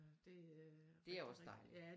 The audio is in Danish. Det øh er også